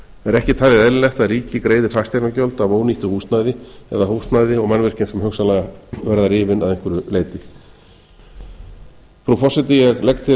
er ekki talið eðlilegt að ríkið greiði fasteignagjöld af ónýttu húsnæði eða húsnæði og mannvirkjum sem hugsanlega verða rifin að einhverju leyti frú forseti ég legg til